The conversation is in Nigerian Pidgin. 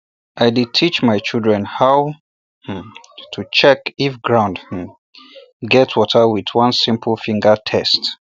i dey teach my children how um to um check if ground um get water with one simple finger test